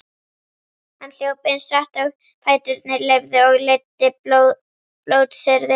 Hann hljóp eins hratt og fæturnir leyfðu og leiddi blótsyrði